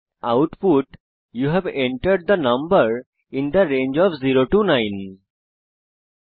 আমরা output you have entered the number in the range of 0 9 হিসাবে দেখি